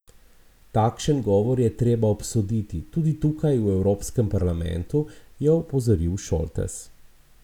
Takšen govor je treba obsoditi, tudi tukaj v Evropskem parlamentu, je opozoril Šoltes.